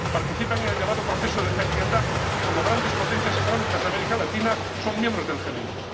Participan en el llamado proceso de Heiligendamm y, como grandes potencias económicas de América Latina, son miembros del G 20.